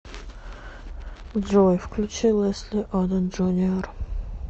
джой включи лэсли одом джуниор